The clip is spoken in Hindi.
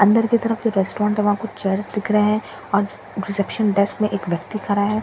अंदर की तरफ जो रेस्टोरेंट है वहां कुछ चेयर्स दिख रहे हैं और रिसेप्शन डेस्क में व्यक्ति खड़ा है यहां पर ग्रीन --